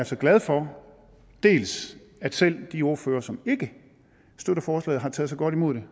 så glad for dels at selv de ordførere som ikke støtter forslaget har taget så godt imod det